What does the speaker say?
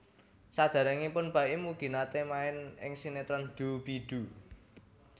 Saderengipun Baim ugi nate main ing sinetron Doo Bee Doo